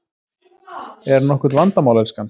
Er nokkurt vandamál, elskan?